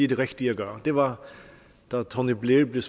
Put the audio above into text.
det rigtige at gøre det var da tony blair ved